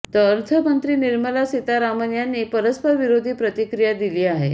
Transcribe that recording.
तर अर्थमंत्री निर्मला सीतारामन यांनी परस्परविरोधी प्रतिक्रिया दिली आहे